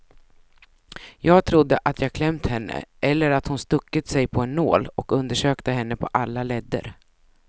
Jag trodde att jag klämt henne, eller att hon stuckit sig på en nål och undersökte henne på alla ledder.